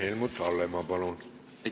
Helmut Hallemaa, palun!